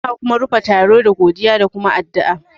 Ana kuma rufe taro da godiya da kuma addu'a